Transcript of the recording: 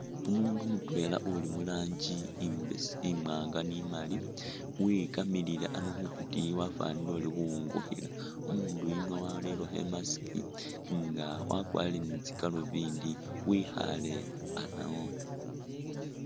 Umuundu mutwela uli mu rangi imbese imwaanga ni imaali wikamilile ano khukutiyi wafwanile uli khuwungikhila, umuundu yuno warerekho i'mask nga wakwarire ni tsigalubindi wikhaale ano.